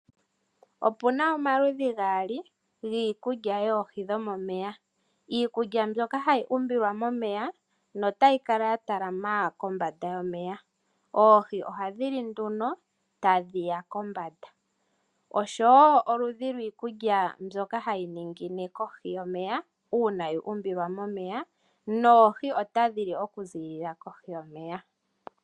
Opuna omaludhi gaali giikulya yoohi dhomomeya. Iikulya ndyoka hayi umbilwa momeya notayi kala ya talama kombanda yomeya. Oohi ohadhi li nduno tadhiya kombanda. Oshowo oludhi lwiikulya ndyoka hayi ningine kohi yomeya uuna yu umbilwa momeya noohi otadhi li oku zilila kohi yomeya.